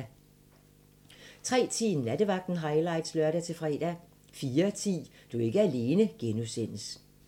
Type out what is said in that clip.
03:10: Nattevagten highlights (lør-fre) 04:10: Du er ikke alene (G)